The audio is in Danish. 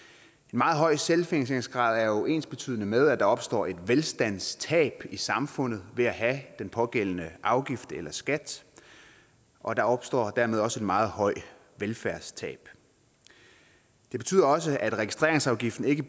meget høj selvfinansieringsgrad er jo ensbetydende med at der opstår et velstandstab i samfundet ved at have den pågældende afgift eller skat og der opstår dermed også et meget højt velfærdstab det betyder også at registreringsafgiften ikke